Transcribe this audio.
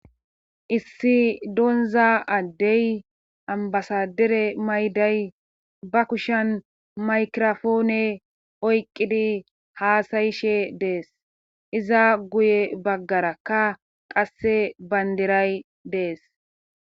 issi donza addey ambasadere mayday ba kushan maykirofoone oyqqidi haasayishe dees iza guye baggarakka qasse bandiray dees